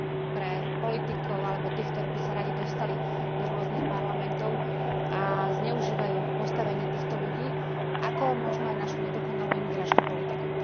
pre politikov alebo tých, ktorí by sa radi dostali do rôznych parlamentov a zneužívajú postavenie týchto ľudí, ako možno aj našu nedokonalú imigračnú politiku.